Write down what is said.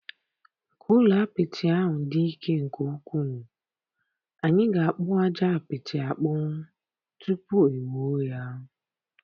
Ka ụlọ apịtị ahụ dị ike nke ukwuu, anyị ga-akpu aja apịtị akpu tupu e wuo ya.